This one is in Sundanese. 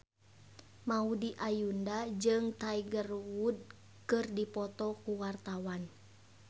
Maudy Ayunda jeung Tiger Wood keur dipoto ku wartawan